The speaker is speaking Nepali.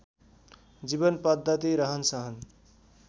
जीवन पद्धति रहनसहन